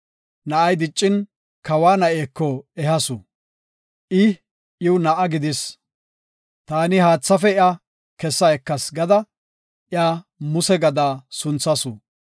Na7ay diccin, kawa na7eko ehasu; I iw na7a gidis. “Taani haathaafe iya kessa ekas” gada, iya Muse gada sunthasu.